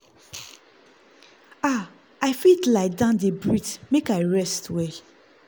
ah i fit lie down dey breathe make i rest well.